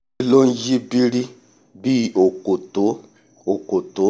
n yí birir bí òkòtó òkòtó